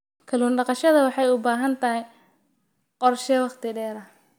Kallun daqashada waxay u baahan tahay qorshe wakhti dheer ah.